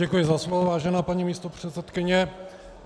Děkuji za slovo, vážená paní místopředsedkyně.